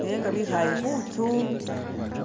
nenga bikhaaye khutsu.